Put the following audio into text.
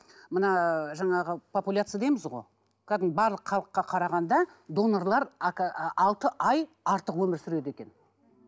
мына жаңағы популяция дейміз ғой кәдімгі барлық халыққа қарағанда донорлар ы алты ай артық өмір сүреді екен